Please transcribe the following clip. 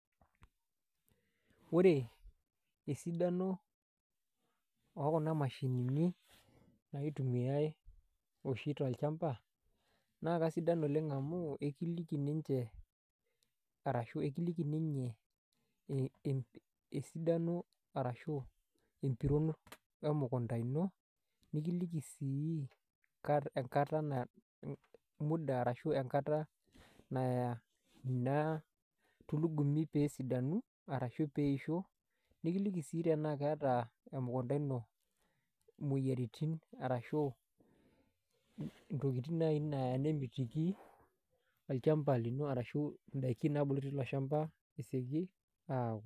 Ore esidano ookuna mashinini naitumiai oshi tolchamba naa kasidan oleng' amu akiliki ninche arashu akiliki inye esidano arashu empiron emukunda ino nikiliki sii enkata muda arashu enkata ina tulugumi pee esidanu arashu pee eisho nekiliki sii tenaa keeta emukunda ino imoyiaritin arashu ntokitin naai neya nemitiki olchamba lino arashu indaiki naabulu tilo shamba esioki aaku.